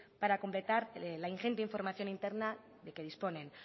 para completar la ingente información interna de que disponen